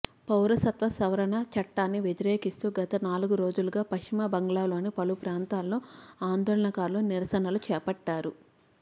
పౌరసత్వ సవరణ చట్టాన్ని వ్యతిరేకిస్తూ గత నాలుగు రోజులుగా పశ్చిమ బంగాల్లోని పలు ప్రాంతాల్లో ఆందోళనకారులు నిరసనలు చేపట్టారు